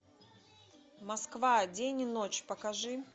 москва день и ночь покажи